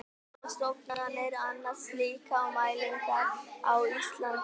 Þrjár stofnanir annast slíkar mælingar á Íslandi.